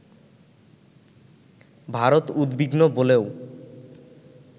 ভারত উদ্বিগ্ন বলেও